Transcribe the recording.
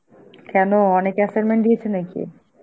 কেনো অনেক assignment দিয়েছে নাকি?